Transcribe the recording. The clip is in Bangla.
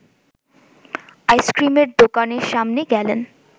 আইসক্রিমের দোকানের সামনে গেলেন